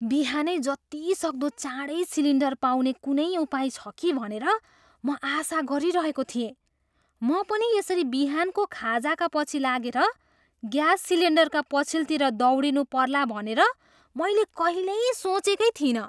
बिहानै जतिसक्दो चाडैँ सिलिन्डर पाउने कुनै उपाय छ कि भनेर म आशा गरिरहेको थिएँ। म पनि यसरी बिहानको खाजाका पछि लागेर ग्यास सिलेन्डरका पछिल्तिर दौडिनु पर्ला भनेर मैले कहिल्यै सोचेकै थिइनँ।